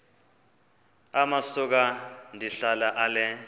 amasuka ndihlala ale